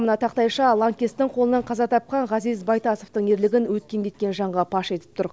мына тақтайша лаңкестің қолынан қаза тапқан ғазиз байтасовтың ерлігін өткен кеткен жанға паш етіп тұр